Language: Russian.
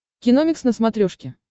киномикс на смотрешке